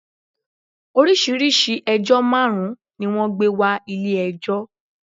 Orísíirìsíi ẹjọ́ máàrun ni wọ́n gbé wa Ilé ẹjọ́